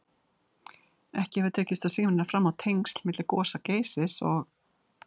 Ekki hefur tekist að sýna fram á tengsl milli gosa Geysis og